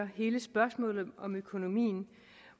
hele spørgsmålet om økonomien